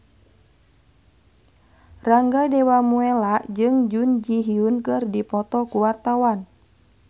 Rangga Dewamoela jeung Jun Ji Hyun keur dipoto ku wartawan